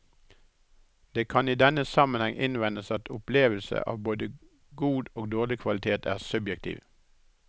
Det kan i denne sammenheng innvendes at opplevelse av både god og dårlig kvalitet er subjektiv.